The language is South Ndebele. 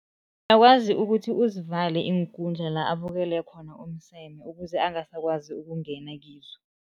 Uyakwazi ukuthi uzivale iinkundla la abukele khona umseme, ukuze angasakwazi ukungena kizo.